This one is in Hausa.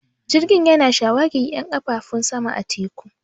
Jirgin yana shawagi 'yan ƙafafu sama da teku